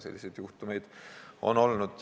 Selliseid juhtumeid on olnud.